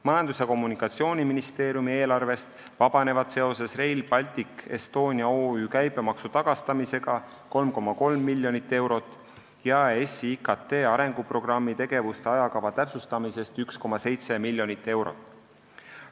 Majandus- ja Kommunikatsiooniministeeriumi eelarvest vabaneb Rail Baltic Estonia OÜ käibemaksu tagastamisest 3,3 miljonit eurot ning EAS-i IKT arenguprogrammi tegevuste ajakava täpsustumisest 1,7 miljonit eurot.